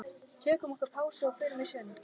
Tökum okkur pásu og förum í sund.